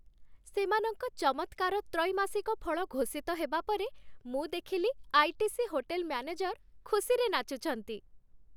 ସେମାନଙ୍କ ଚମତ୍କାର ତ୍ରୈମାସିକ ଫଳ ଘୋଷିତ ହେବା ପରେ, ମୁଁ ଦେଖିଲି ଆଇ.ଟି.ସି. ହୋଟେଲ ମ୍ୟାନେଜର ଖୁସିରେ ନାଚୁଛନ୍ତି।